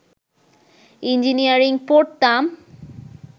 engineering পড়তাম